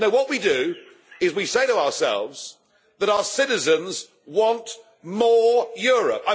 No, what we do, is we say to ourselves that our citizens want more Europe.